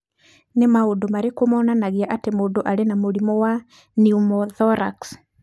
Nĩ maũndũ marĩkũ monanagia atĩ mũndũ arĩ na mũrimũ wa pneumothorax?